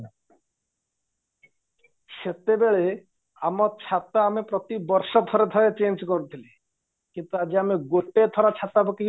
ସେତେବେଳେ ଆମ ଛାତ ଆମେ ପ୍ରତି ବର୍ଷ ଥରେ ଥରେ change କରୁଥିଲେ କିନ୍ତୁ ଆମେ ଆଜି ଗୋଟେଥର ଛାତପକେଇ